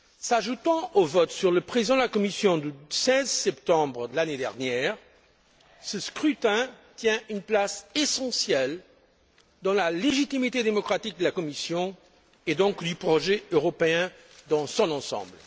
S'ajoutant au vote sur le président de la Commission du 16 septembre de l'année dernière, ce scrutin tient une place essentielle dans la légitimité démocratique de la Commission, et donc du projet européen dans son ensemble.